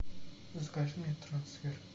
закажи мне трансфер